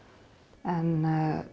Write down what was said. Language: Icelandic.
en